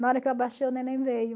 Na hora que eu abaixei, o neném veio.